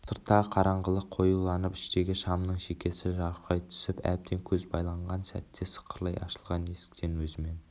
сырттағы қараңғылық қоюланып іштегі шамның шекесі жарқырай түсіп әбден көз байланған сәтте сықырлай ашылған есіктен өзімен